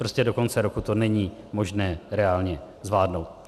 Prostě do konce roku to není možné reálně zvládnout.